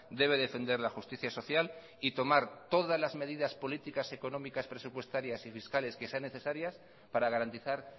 debe defender la justicia social y tomar todas las medidas políticas económicas presupuestarias y fiscales que sean necesarias para garantizar